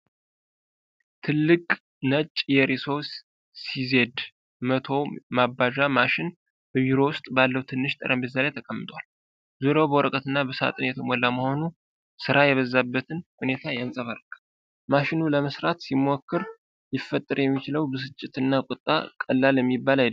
ትልቅ ነጭ የሪሶ ሲዜድ 100 ማባዣ ማሽን በቢሮ ውስጥ ባለው ትንሽ ጠረጴዛ ላይ ተቀምጧል። ዙሪያው በወረቀትና በሳጥን የተሞላ መሆኑ ሥራ የበዛበትን ሁኔታ ያንጸባርቃል። ማሽኑን ለማሠራት ሲሞከር ሊፈጠር የሚችለውን ብስጭትና ቁጣ ቀላል የሚባል አይደለም።